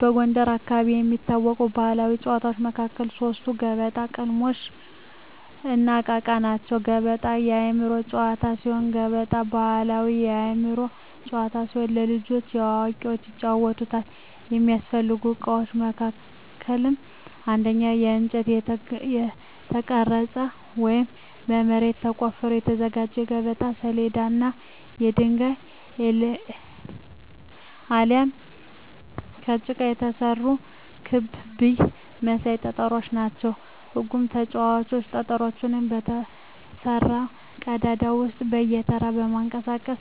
በጎንደር አካባቢ ከሚታወቁ ባሕላዊ ጨዋታዎች መካከል ሶስቱ ገበጣ፣ ቅልሞሽ፣ እና እቃ እቃ ናቸው። ገበጣ የአእምሮ ጨዋታ ሲሆን ገበጣ ባሕላዊ የአእምሮ ጨዋታ ሲሆን ለልጆችም ለአዋቂዎችም ይጫወታል። የሚያስፈልጉ እቃዎች መካከልም አንደኛ በእንጨት የተቀረጸ ወይም በመሬት ተቆፍሮ የተዘጋጀ የገበጣ ሰሌዳ እና የድንጋይ አሊያም ከጭቃ የተሰሩ ክብ ብይ መሳይ ጠጠሮች ናቸው። ህጉም ተጫዋቾች ጠጠሮቹን በተሰራው ቀዳዳ ውስጥ በየተራ በማንቀሳቀስ